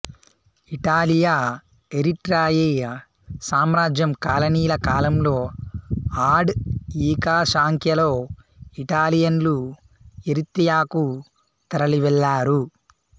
ఇటాలియా Eritrea సామ్రాజ్యం కాలనీల కాలంలో ఆడ్ఃఈఖాశాంఖ్యలో ఇటాలియన్లు ఎరిత్రియాకు తరలివెళ్లారు